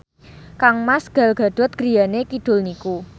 kangmas Gal Gadot griyane kidul niku